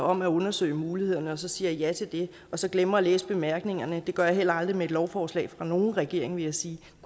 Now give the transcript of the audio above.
om at undersøge mulighederne og så sagde ja til det og så glemte at læse bemærkningerne det gør jeg heller aldrig med et lovforslag fra nogen regering vil jeg sige